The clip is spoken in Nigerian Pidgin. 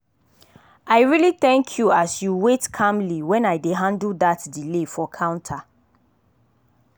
i really thank you as you wait calmly when i dey handle dat delay for counter.